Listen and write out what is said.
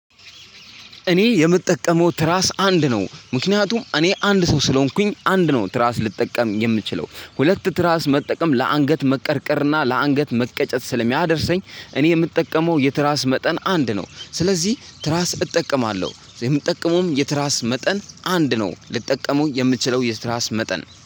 እኔ የምጠቀመው ትራስ አንድ ነው ምክንያቱም እኔ አንድ ሰው ስለሆንኩኝ አንድ ነው ትራስ ልጠቀም የምችለው ሁለት ትራስ መጠቀም ለአንገት መቀርቀርና ለአንገት መቀጨት ስለሚያደርሰኝ እኔ የምጠቀመው የትራስ መጠን አንድ ነው። ስለዚህ ትራስ እጠቀማለሁ የምጠቀመውም የትራስ መጠን አንድ ነው ልጠቀመው የምችለው የትራስ መጠን